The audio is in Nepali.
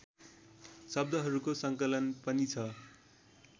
शब्दहरूको सङ्कलन पनि छ